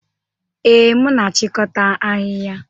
Ee, m na-achịkọta ahịhịa.